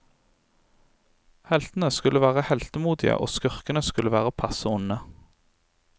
Heltene skulle være heltemodige, og skurkene skulle være passe onde.